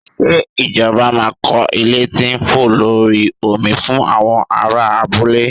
Ṣé ìjọba máa kọ́ ilé tí ń fò lórí omi fún àwọn aráa abúlé?